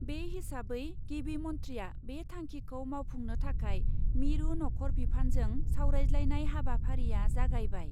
बे हिसाबै गिबि मन्थ्रिआ बे थांखिखौ मावफुंनो थाखाय मिरु नख'र बिफानजों सावरायज्लायनाय हाबाफारिया जागायबाय।